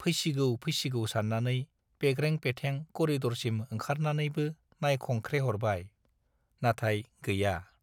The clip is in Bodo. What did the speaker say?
फैसिगौ फैसिगौ सान्नानै पेग्रें-पेथें करिडरसिम ओंखारनानैबो नायखंख्रेहरबाय - नाथाय गैया।